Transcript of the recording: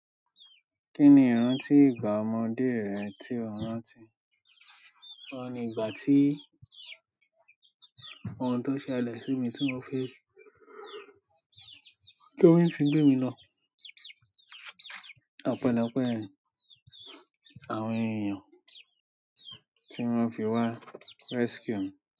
Kí ni ìrántí ìgbà ọmọdé rẹ tí o rántí? Oun ni ìgbà tí ohun tó ṣẹlẹ̀ sí mi tí wọ́n fi gé mi lọ. Ọpẹlẹ́ ọpẹ́ ẹyin àwọn ènìyàn tí wọ́n fi wá rescue mi.